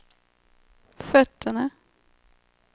fötterna